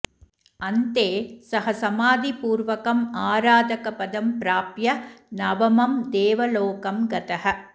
अन्ते सः समाधिपूर्वकम् आराधकपदं प्राप्य नवमं देवलोकं गतः